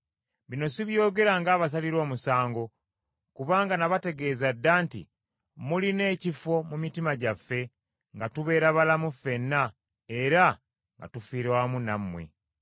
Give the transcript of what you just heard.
Bino sibyogera ng’abasalira omusango, kubanga nabategeeza dda nti, Mulina ekifo mu mitima gyaffe, nga tubeera balamu ffenna era nga tufiira wamu nammwe.